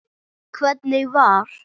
Hvernig var?